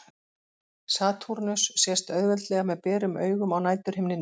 Satúrnus sést auðveldlega með berum augum á næturhimninum.